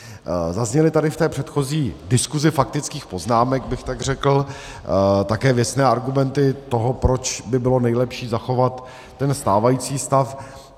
Zazněly tady v té předchozí diskusi faktických poznámek, bych tak řekl, také věcné argumenty toho, proč by bylo nejlepší zachovat ten stávající stav.